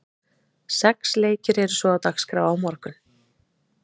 Sex leikir eru svo á dagskrá á morgun.